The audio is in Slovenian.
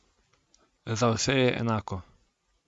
Za vse je enako.